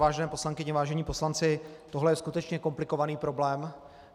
Vážené poslankyně, vážení poslanci, tohle je skutečně komplikovaný problém.